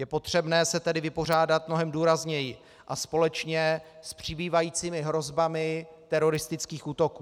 Je potřebné se tedy vypořádat mnohem důrazněji a společně s přibývajícími hrozbami teroristických útoků.